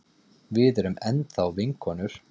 Við erum enn þá vinkonur.